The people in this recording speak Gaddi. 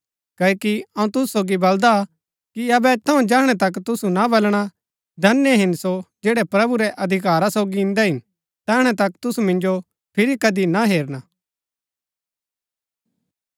क्ओकि अऊँ तुसु सोगी बलदा कि अबै थऊँ जैहणै तक तुसु ना बलणा धन्य हिन सो जैड़ै प्रभु रै अधिकारा सोगी इन्दै हिन तैहणै तक तुसु मिन्जो फिरी कदी ना हेरना